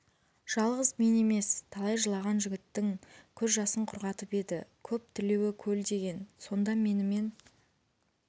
жалғыз мен емес талай жылаған жігіттің көз жасын құрғатып еді көп тілеуі көл деген сонда менімен